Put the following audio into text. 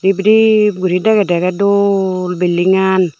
rip rip gori dagedey ekray dol bildigan